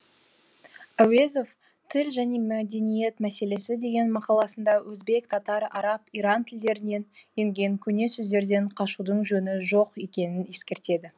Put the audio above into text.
әуезов тіл және әдебиет мәселесі деген мақаласында өзбек татар араб иран тілдерінен енген көне сөздерден қашудың жөні жоқ екенін ескертеді